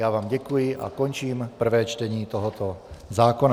Já vám děkuji a končím prvé čtení tohoto zákona.